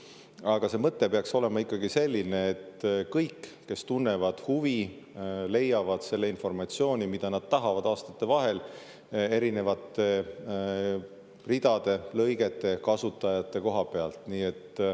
Aga see mõte peaks olema ikkagi selline, et kõik, kes tunnevad huvi, leiavad selle informatsiooni, mida nad tahavad, aastate vahel erinevate ridade, lõigete, kasutajate koha pealt.